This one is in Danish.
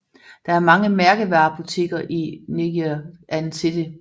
Der er mange mærkevarebutikker i Ngee Ann City